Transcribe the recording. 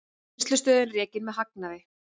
Vinnslustöðin rekin með hagnaði